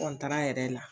yɛrɛ la